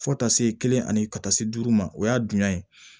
Fo taa se kelen ani ka taa se duuru ma o y'a dunya ye